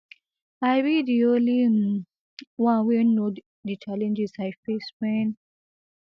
i be di only um one one wey know di challenges i face wen